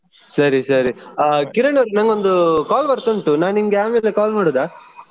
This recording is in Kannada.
ಸರಿ ಸರಿ ಕಿರಣ್ ಅವ್ರೆ ನಂಗೊಂದು call ಬರ್ತಾ ಉಂಟು ನಾನಿಂಗೆ ಆಮೇಲೆ call ಮಾಡುದಾ.